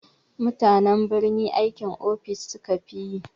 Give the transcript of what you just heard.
Mutanen birni aikin ofis sukafi yi.